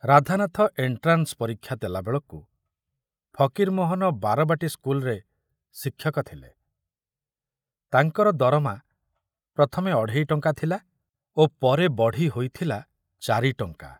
Radhanath entrance ପରୀକ୍ଷା ଦେଲାବେଳକୁ ଫକୀରମୋହନ ବାରବାଟୀ ସ୍କୁଲରେ ଶିକ୍ଷକ ଥିଲେ, ତାଙ୍କର ଦରମା ପ୍ରଥମେ ଅଢ଼େଇ ଟଙ୍କା ଥିଲା ଓ ପରେ ବଢ଼ି ହୋଇଥିଲା ଚାରି ଟଙ୍କା।